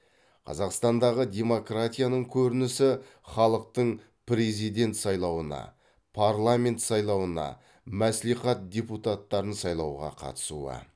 қазақстандағы демократияның көрінісі халықтың президент сайлауына парламент сайлауына мәсслихат депуттарын сайлауға қатысуы